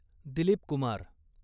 Dilip Kumar